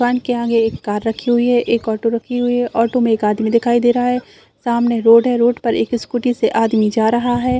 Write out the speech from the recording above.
दुकान के आगे एक कार रखी हुई है एक ऑटो रखी हुई है ऑटो में एक आदमी दिखाई दे रहा है सामने रोड है रोड पर एक स्कूटी से आदमी जा रहा है।